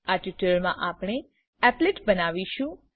આ ટ્યુટોરીયલમાં આપણે એપ્લેટ એપ્લેટ બનાવીશું